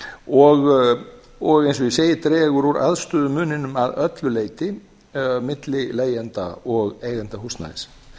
og eins og ég segi dregur úr aðstöðumuninum að öllu leyti milli leigjenda og eigenda húsnæðis